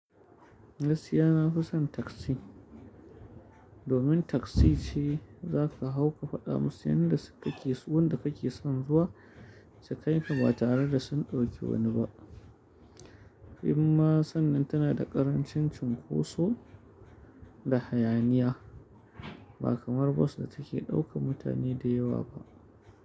Gaskiya na fi son taksi. Domin taksi ce za ka hau ka faɗa musu inda kake son zuwa, sukai ka ba tare da sun ɗauki wani ba. Imma sannan tana da ƙarancin cunkoso da hayaniya ba kamar bas da take ɗaukan mutane da yawa ba.